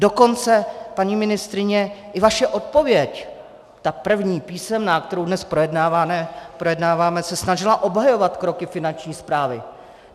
Dokonce, paní ministryně, i vaše odpověď, ta první, písemná, kterou dnes projednáváme, se snažila obhajovat kroky Finanční správy.